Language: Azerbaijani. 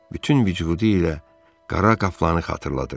Bütün vücudu ilə qara qaplanı xatırladırdı.